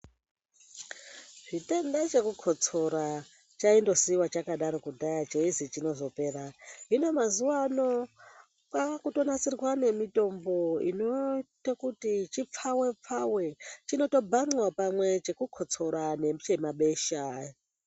Chitenda chokukotsora chaindosiiwa chakadaro kudhaya cheizi chozopera .Hino mazuva ano kwakutonasirwa nemitombo inoita kuti chipfave pfave .Chinotobhanxa pamwe chekukotsora pamwe nechemabesha.